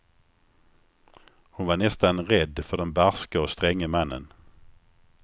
Hon var nästan rädd för den barske och stränge mannen.